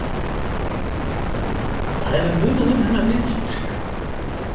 Það hefur munað um hennar liðsstyrk.